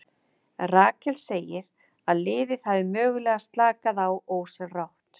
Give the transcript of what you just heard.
Rakel segir að liðið hafi mögulega slakað á ósjálfrátt.